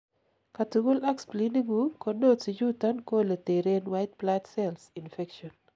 katugul ak spleeningun, ko nodes ichuton ko ole teren White blood cells infection